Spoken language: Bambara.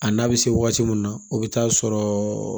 A n'a bɛ se waati min na o bɛ taa sɔrɔ